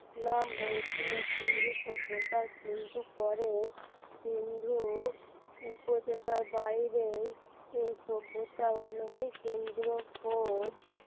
নাম হয়েছিল সিন্ধু সভ্যতার কিন্তু পরে সিন্ধু উপতকার বাইরেই এই সভ্যতার অনেকেই কেন্দ্র খোঁজ